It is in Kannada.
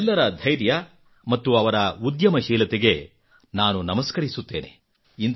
ಇವರೆಲ್ಲರ ಧೈರ್ಯ ಅವರ ಉದ್ಯಮಶೀಲತೆಗೆ ನಾನು ನಮಸ್ಕರಿಸುತ್ತೇನೆ